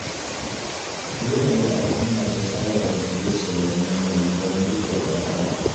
Dole ne al'umma ta saba da sauye-sauyen yanayi don gujewa matsala.